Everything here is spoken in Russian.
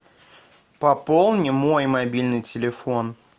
пополни мой мобильный телефон